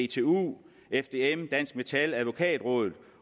dtu dtu fdm dansk metal advokatrådet